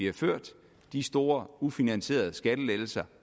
har ført og de store ufinansierede skattelettelser